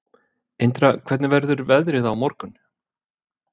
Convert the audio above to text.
Indra, hvernig verður veðrið á morgun?